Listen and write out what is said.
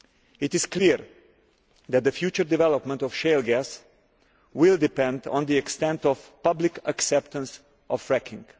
It is clear that the future development of shale gas will depend on the extent of public acceptance of fracking.